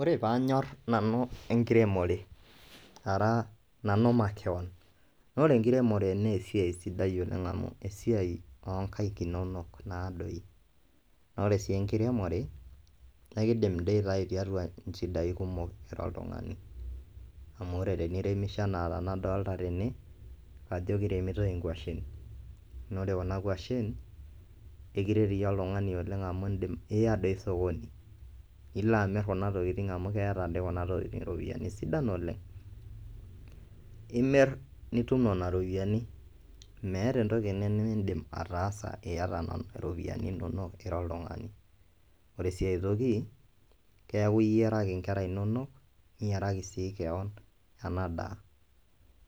Ore paanyor nanu enkiremore ara nanu makeon naa ore enkiremore nee esiai sidai oleng' amu esiai oo nkaek inonok naadoi. Naa ore sii enkiremore naa kiindim dii aitayu tiatua nchidai kumok ira oltung'ani amu ore teniremisho enaa tenaadolta tene ajo kiremitoi nkwashen naa ore kuna kwashen, ekiret iyie oltung'ani oleng' amu iindim iya doi sokoni ilo amir kuna tokitin amu keeta doi kuna tokitin iropiani sidan oleng'. Imir nitum nena ropiani, meeta entoki nemiindim ataasa iyata nena ropiani inonok ira oltung'ani. Ore sii ai toki keeku iyaraki nkera inonok niyiaraki sii keon ena daa.